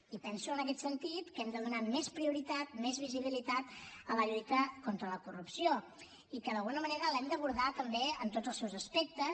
i penso en aquest sentit que hem de donar més prioritat més visibilitat a la lluita contra la corrupció i que d’alguna manera l’hem d’abordar també en tots els seus aspectes